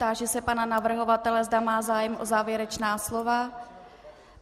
Táži se pana navrhovatele, zda má zájem o závěrečná slova.